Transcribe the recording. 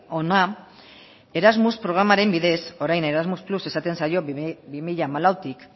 hona erasmus programaren bidez orain erasmus más esaten zaio bi mila hamalautik